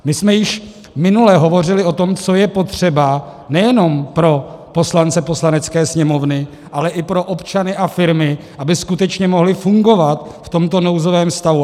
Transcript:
My jsme již minule hovořili o tom, co je potřeba nejen pro poslance Poslanecké sněmovny, ale i pro občany a firmy, aby skutečně mohli fungovat v tomto nouzovém stavu.